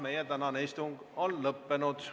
Meie tänane istung on lõppenud.